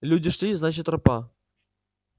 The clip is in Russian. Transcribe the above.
люди шли значит тропа